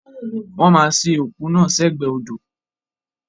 Wọ́n ma sin òkú náà sẹ́gbẹ̀ odò